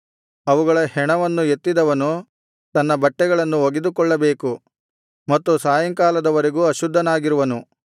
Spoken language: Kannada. ಅವುಗಳ ಹೆಣವನ್ನು ಎತ್ತಿದವನು ತನ್ನ ಬಟ್ಟೆಗಳನ್ನು ಒಗೆದುಕೊಳ್ಳಬೇಕು ಮತ್ತು ಸಾಯಂಕಾಲದವರೆಗೂ ಅಶುದ್ಧನಾಗಿರುವನು